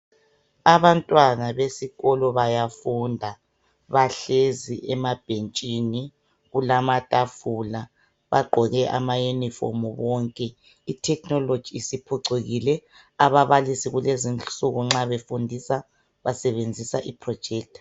Abantwana besikolo bayafunda bahlezi emabhentshini "kulamatafula" bagqoke ama "uniformu" bonke i "technology" isiphucukile ababalisi kulezinsuku nxa befundisa basebenzisa i "projector"